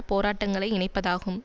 போராட்டங்களை இணைப்பதாகும்